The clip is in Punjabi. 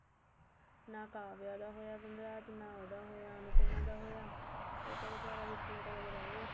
ਨਾ ਕਾਵਿਆ ਦਾ ਹੋਇਆ ਵਨਰਾਜ ਨਾ ਉਹਦਾ ਹੋਇਆ ਅਨੁਪਮਾ ਦਾ ਉਹ ਤਾਂ ਵਿਚਾਰਾ ਵਿੱਚ ਲਟਕ ਕਿ ਰਿਹ ਗਿਆ